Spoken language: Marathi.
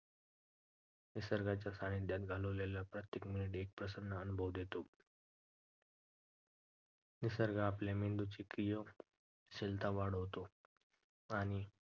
निसर्गाच्या सानिध्यात घालवलेला प्रत्येक minute एक प्रसन्न अनुभव देतो. निसर्ग आपल्या मेंदूची क्रियाशीलता वाढवतो आणि